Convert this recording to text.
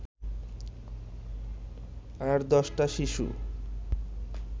আর দশটা শিশু